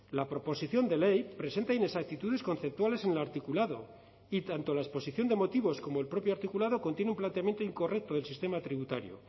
la proposición de ley presenta inexactitudes conceptuales en el articulado y tanto la exposición de motivos como el propio articulado contiene un planteamiento incorrecto del sistema tributario